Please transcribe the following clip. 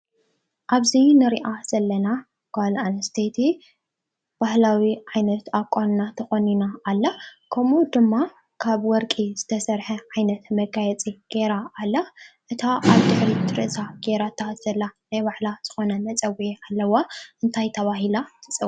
ኣብዚ እንሪኣ ዘለና ጓል ኣነስተይቲ ባህላዊ ዓይነት ኣቋንና ተቆኒና ኣላ ።ከምኡ ድማ ካብ ወርቂ ዝተሰረሐ ዓይነት መጋየፂ ገይራ ኣላ ። እታ ኣብ ድሕሪት ርእሳ ገይራታ ዘላ ናይ ባዕላ መፀዊዒ ኣለዋ። እንታይ ተባሂላ ትፅዋዕ ?